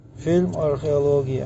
фильм археология